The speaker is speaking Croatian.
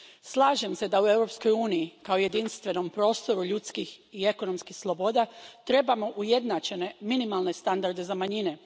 Slažem se da u Europskoj uniji, kao jedinstvenom prostoru ljudskih i ekonomskih sloboda, trebamo ujednačene minimalne standarde za manjine.